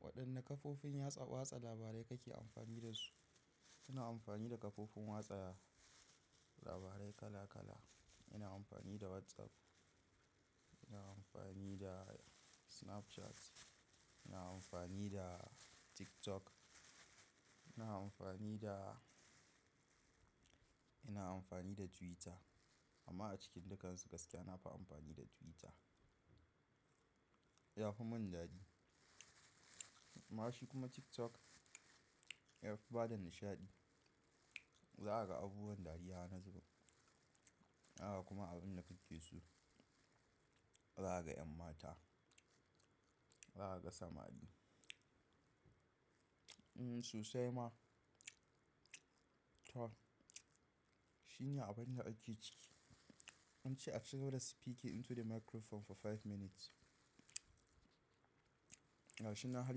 Waɗanne kafofin watsa labarai kake amfani da su? Ina amfani da kafofin watsa labarai kala kala. Ina amfani da WhatsApp, ina amfani da Snapchat, ina amfani da TikTok, ina amfani da, ina amfani da Twitter amma a cikin dukansu gaskiya nafi amfani da Twitter. Yafi mun dadi. Amma shi kuma TikTok, ya fi bada nishaɗi. Za a ga abubuwan dariya wani zubin. Za a ga kuma abun da ka ke so. Za a ga en mata, za a ga samari. Mm susai ma. To, shine abinda ake ciki. An ce a ci gaba da spikin into the microphone for five minutes. Gashi nan har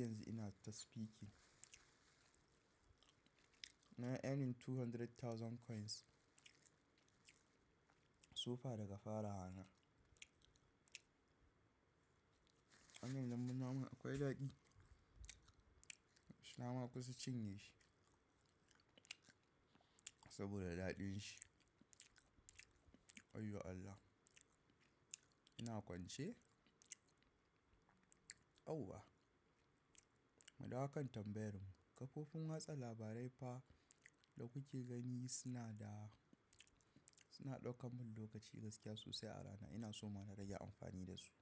yanzu ina ta spiki. Na earning two hundred thousand coins. Su fa daga fara wana. Wannan danbun nama akwai dadi. Na makusa cinye shi. Saboda daɗin shi. Wayyo Allah. Ina kwance. Aua. Mudawo kan tambayarmu. Kafofin watsa labarai fa da kuke gani suna da, suna ɗaukan mun lokaci gaskiya sosai a rana. Ina so ma na rage amfani da su.